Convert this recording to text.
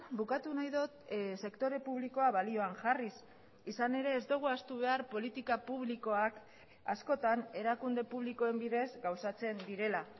bukatu nahi dut sektore publikoa balioan jarriz izan ere ez dugu ahaztu behar politika publikoak askotan erakunde publikoen bidez gauzatzen direla